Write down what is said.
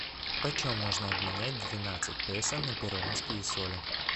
почем можно обменять двенадцать песо на перуанские соли